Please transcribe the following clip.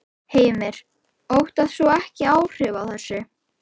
Heimir: Óttast þú ekki áhrifin af þessu?